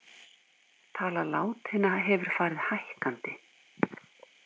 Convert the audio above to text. Tala látinna hefur farið hækkandi